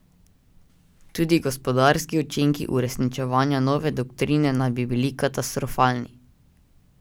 Tudi gospodarski učinki uresničevanja nove doktrine naj bi bili katastrofalni.